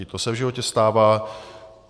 I to se v životě stává.